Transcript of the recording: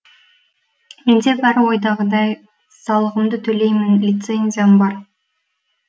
менде бәрі ойдағыдай салығымды төлеймін лицензиям бар